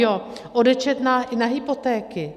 Jo, odečet na hypotéky.